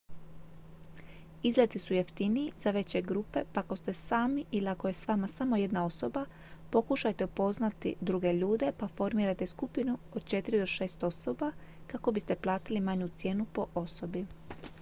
izleti su jeftiniji za veće grupe pa ako ste sami ili ako je s vama samo jedna osoba pokušajte upoznati druge ljude pa formirajte skupinu od četiri do šest osoba kako biste platili manju cijenu po osobi